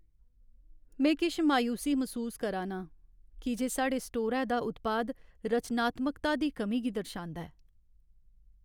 में किश मायूसी मसूस करा ना आं की जे साढ़े स्टोरै दा उत्पाद रचनात्मकता दी कमी गी दर्शांदा ऐ।